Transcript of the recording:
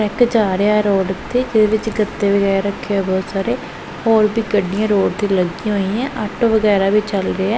Truck ਜਾ ਰਿਹਾ road ਉੱਤੇ ਜਿਹਦੇ ਵਿੱਚ ਗੱਤੇ ਵਗੈਰਾ ਰੱਖੇ ਹੋਏ ਬਹੁਤ ਸਾਰੇ ਹੋਰ ਵੀ ਗੱਡੀਆਂ ਰੋਡ ਤੇ ਲੱਗੀਆਂ ਹੋਈਆਂ ਆਟੋ ਵਗੈਰਾ ਵੀ ਚੱਲ ਰਿਹਾ।